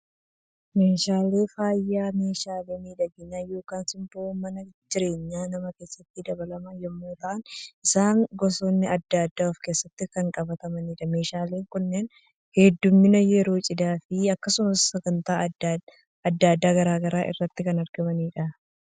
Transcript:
Meeshaaleen faayaa, meeshaalee miidhagina yookaan simboo mana jireenyaa namaa keessatti dabalan yemmuu ta'an, isaanis gosoonni addaa addaa of keessatti kan qabatanidha. Meeshaaleen kunneen hedduminaan yeroo cidhaa fi akkasuma sagantaa addaa garaagaraa irratti kan argamanidha.